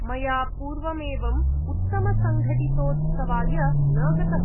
मया पूर्वम् एवम् उत्तमसङ्गठितोत्सवाय न गतम्।